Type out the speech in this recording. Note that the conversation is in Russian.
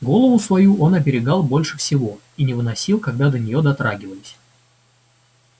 голову свою он оберегал больше всего и не выносил когда до неё дотрагивались